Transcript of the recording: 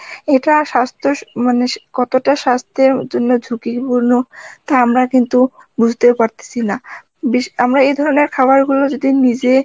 এটা সাস্থ্য স~ মানে কতটা সাস্থ্যের জন্য ঝুকি পূর্ণ টা আমরা কিন্তু বুজতে পারতাসি না বিস~ আমরা এ ধরনের খাবার গুলো যদি নিজে